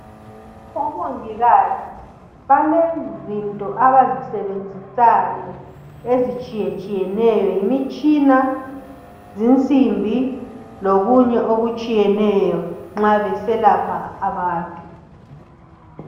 Omongikazi balezinto abazisebenzisayo ezitshiye tshiyeneyo abazisebenzisayo, Yimitshina, zinsimbi lokunye okutshiyeneyo nxa beselapha abantu.